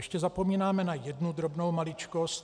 Ještě zapomínáme na jednu drobnou maličkost.